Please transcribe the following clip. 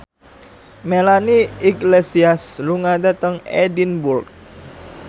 Melanie Iglesias lunga dhateng Edinburgh